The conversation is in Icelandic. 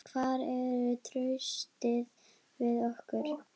Hvar er traustið við okkur?